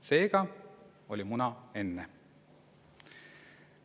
Seega oli muna enne.